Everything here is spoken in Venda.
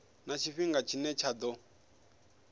na tshifhinga tshine tsha ḓo